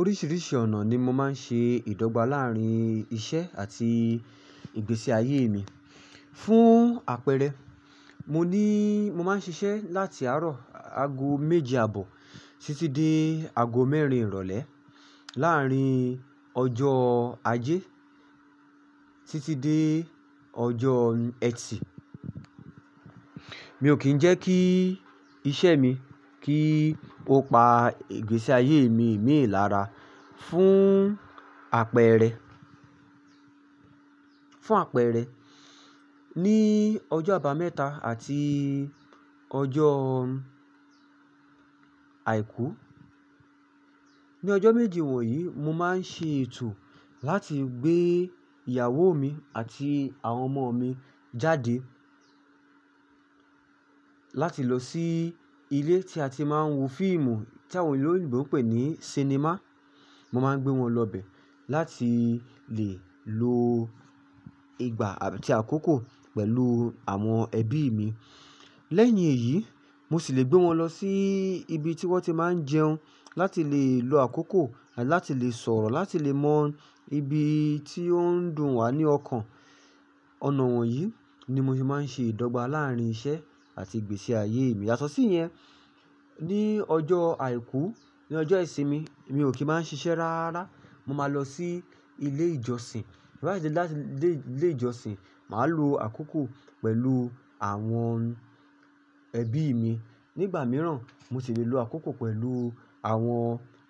Oríṣìíríṣìí ọ̀nà ni mo máa ń ṣe ìdọ́gba láàárín iṣẹ́ àti ìgbésí ayé mi. Fún àpẹẹrẹ, mo ní, mo máa ń ṣiṣẹ́ láti àárọ̀ ago méje àbọ̀ títí dé ago mẹ́rin ìrọ̀lẹ́ láàárín ọjọ́ ajé títí dé ọjọ́ ẹtì. Mi ò kì í jẹ́ kí iṣẹ́ mi kí ó pa ìgbésí ayé mi mìi lára. Fún àpẹẹrẹ, fún àpẹẹrẹ, ní ọjọ́ àbámẹ́ta àti ọjọ́ àìkú, ní ọjọ́ méjì wọ̀nyí mo máa ń ṣe ètò láti gbé ìyàwó mi àti àwọn ọmọ mi jáde láti lọ sí ilé tí a ti máa ń wo fíìmù tí àwọn oloyinbo n pè ní sinimá. Mo máa ń gbé wọn lọ bẹ̀ láti lè lo ìgbà àti àkókò pẹ̀lú àwọn ẹbí mi. Lẹ́yìn èyí, mo sì le gbé wọn lọ sí ibi tí wọ́n ti máa ń jẹun láti lè lo àkókò, láti lè sọ̀rọ̀, láti lè mọ ibi tí ó ń dùn wá ní ọkàn. Ọ̀nà wọ̀nyí ni mo ti máa ń ṣe ìdọ́gba láàárín iṣẹ́ àti ìgbésí ayé mi. Yàtọ̀ sí yẹn, ní ọjọ́ àìkú, ní ọjọ́ ìsinmi, mi ò kí í máa ń ṣiṣẹ́ rárá. Mo máa lọ sí ilé ìjọsìn. Lẹ́yìn láti ilé ìjọsìn, màá lo àkókò pẹ̀lú àwọn ẹbí mi. Nígbà mìíràn, mo sì le lo àkókò pẹ̀lú àwọn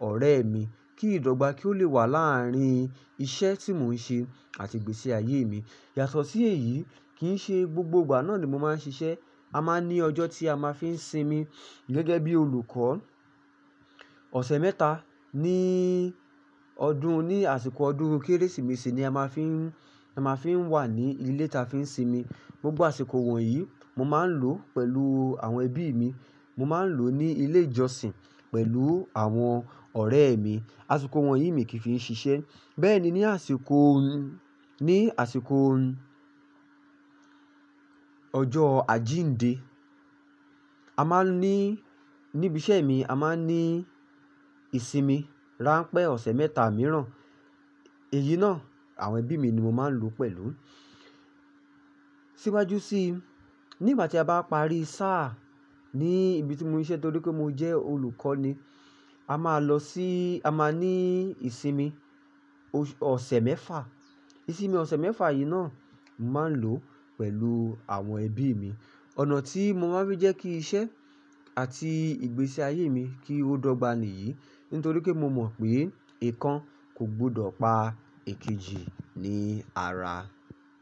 ọ̀rẹ́ mi kí ìdọ́gba kí ó lè wà láàárín iṣẹ́ tí mò ń ṣe àti ìgbésí ayé mi. Yàtọ̀ sí èyí kì í ṣe gbogbo ìgbà náà ni mo máa ń ṣiṣẹ́. A máa ní ọjọ́ tí a máa fi ń sinmi gẹ́gẹ́ bí olùkọ́. Ọ̀sẹ̀ mẹ́ta ní ọdún, ní àsìkò ọdún Kérésìmesì ni a máa fi ń, a máa fi ń wà ní ilé tí a fi ń sinmi. Gbogbo àsìkò wọ̀nyí mo máa ń lò pẹ̀lú àwọn ẹbí mi. Mo máa ń lò ó ní ilé ìjọsìn pẹ̀lú àwọn ọ̀rẹ́ mi. Àsìkò wọ̀nyí mi kì í fi ń ṣiṣẹ́. Bẹ́ẹ̀ ni ní àsìkò, ní àsìkò ọjọ́ àjíǹde, a máa ní, ní ibi iṣẹ́ mi a máa ní ìsinmi rán pé ọ̀sẹ̀ mẹ́ta mìíràn. Èyí náà àwọn ẹbí mi ni mo máa ń lò ó pẹ̀lú. Síwájú sí, nígbà tí a bá parí sáà ní ibi tí mo ń siṣe torí pé mo jẹ́ olùkọ́ ni, a máa lọ sí, a máa ní ìsinmi ọ̀sẹ̀ mẹ́fa. Ìsinmi ọ̀sẹ̀ mẹ́fa yìí náà, mo máa ń lò ó pẹ̀lú àwọn ẹbí mi. Ọ̀nà tí mo máa ń rí jẹ́ kí iṣẹ́ àti ìgbésí ayé mi kí ó dọ́gba nìyí nítorí pé mo mọ̀ pé ikàn kò gbọdọ̀ pa èkejì ní ara.